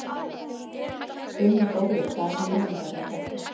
Guð minn góður, hvaða hugleiðingar eru þetta,?